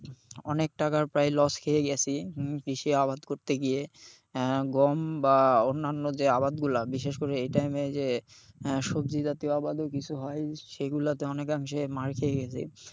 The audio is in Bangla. অনেক টাকার প্রায় loss খেয়ে গেছি হম কৃষি আবাদ করতে গিয়ে। আহ গম বা অন্যান্য যে আবাদগুলা বিশেষ করে এই time এ যে সবজি জাতীয় আবাদও কিছু হয় সেগুলাতে অনেকাংশে মার খেয়ে গেছি।